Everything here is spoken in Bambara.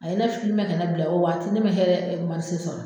A ye ne ka ne bila o waati ne ma hɛrɛ sɔrɔ.